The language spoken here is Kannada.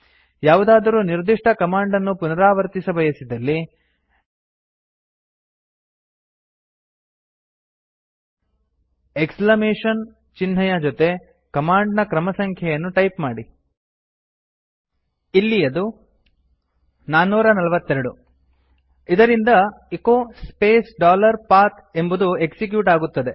ಯಾವುದಾದರೂ ನಿರ್ದಿಷ್ಟ ಕಮಾಂಡ್ ಅನ್ನು ಪುನರಾವರ್ತಿಸಬಯಸಿದಲ್ಲಿ ಎಕ್ಸ್ಲಮೇಶನ್ ಚಿಹ್ನೆಯ ಜೊತೆ ಕಮಾಂಡ್ ನ ಕ್ರಮಸಂಖ್ಯೆಯನ್ನು ಟೈಪ್ ಮಾಡಿ ಇಲ್ಲಿ ಅದು 442 ಇದರಿಂದ ಎಚೊ ಸ್ಪೇಸ್ ಡಾಲರ್ ಪಥ್ ಎಂಬುದು ಎಕ್ಸಿಕ್ಯೂಟ್ ಆಗುತ್ತದೆ